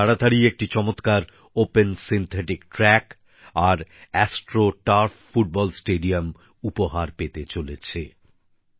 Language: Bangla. লাদাখ তাড়াতাড়িই একটি চমৎকার ওপেন সিন্থেটিক ট্র্যাক আর অ্যাস্ট্রো টার্ফ ফুটবল স্টেডিয়াম উপহার পেতে চলেছে